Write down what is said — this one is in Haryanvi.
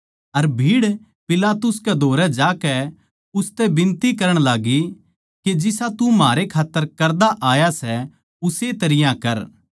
अर भीड़ पिलातुस कै धोरै जाकै उसतै बिनती करण लाग्गी के जिसा तू म्हारै खात्तर करदा आया सै उस्से तरियां कर